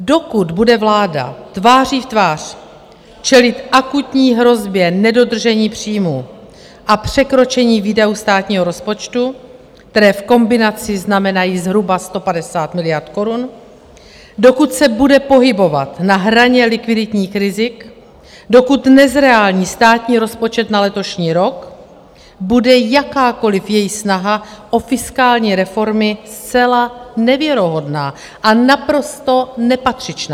Dokud bude vláda tváří v tvář čelit akutní hrozbě nedodržení příjmů a překročení výdajů státního rozpočtu, které v kombinaci znamenají zhruba 150 miliard korun, dokud se bude pohybovat na hraně likviditních rizik, dokud nezreální státní rozpočet na letošní rok, bude jakákoliv její snaha o fiskální reformy zcela nevěrohodná a naprosto nepatřičná.